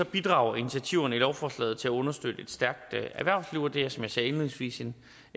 bidrager initiativerne i lovforslaget til at understøtte et stærkt erhvervsliv og det er som jeg sagde indledningsvis en